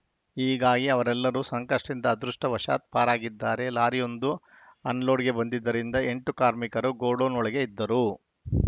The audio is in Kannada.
ಹೀಗಾಗಿ ಅವರೆಲ್ಲರು ಸಂಕಷ್ಟದಿಂದ ಅದೃಷ್ಟವಾಶಾತ್‌ ಪಾರಾಗಿದ್ದಾರೆ ಲಾರಿಯೊಂದು ಅನ್‌ಲೋಡ್‌ಗೆ ಬಂದಿದ್ದರಿಂದ ಎಂಟು ಕಾರ್ಮಿಕರು ಗೋಡೌನ್‌ ಒಳಗೆ ಇದ್ದರು